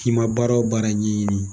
k'i ma baara wo baara ɲɛɲini.